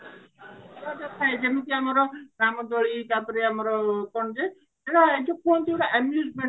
ଥାଏ ଯେମତି ଆମର ରାମଦୋଳି ତାପରେ ଆମର ଯୋଉ କୁହନ୍ତି ଯୋଉଟା amusement